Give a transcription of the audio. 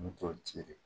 N mi t'o ci de